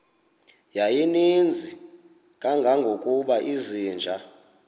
yayininzi kangangokuba izinja